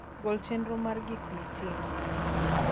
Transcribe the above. gol chenro mar gik mitimo